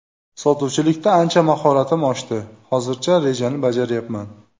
Sotuvchilikda ancha mahoratim oshdi, hozircha rejani bajaryapman.